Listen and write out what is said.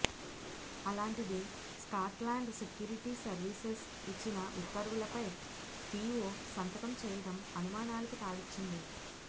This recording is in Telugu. అలాంటిది స్కాట్లాండ్ సెక్యూరిటీ సర్వీసెస్ ఇచ్చిన ఉత్తర్వులపై పీఓ సంతకం చేయడం అనుమానాలకు తావిచ్చింది